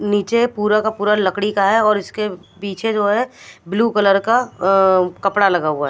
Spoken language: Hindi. नीचे पूरा का पूरा लकड़ी का है और इसके पीछे जो है ब्लू कलर का अ कपड़ा लगा हुआ--